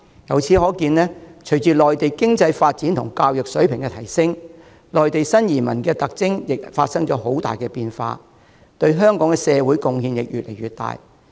由此可見，隨着內地的經濟和教育水平提升，內地新移民的特徵也發生了很大變化，對香港社會的貢獻亦越來越大。